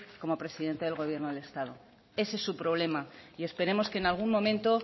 como presidente del gobierno del estado ese es su problema y esperemos que en algún momento